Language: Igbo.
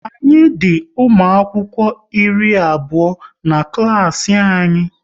Anyị di ụmụ akwụkwọ iri abụọ n'ụlọ klas anyị